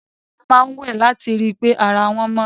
Àwọn ènìyàn máa ń wẹ̀ láti ri pé ara wọn mọ́.